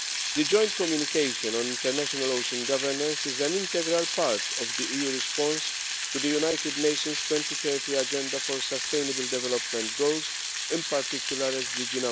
The Joint Communication on international ocean governance is an integral part of the EU response to the United Nations 2030 Agenda for Sustainable Development Goals in particular SDG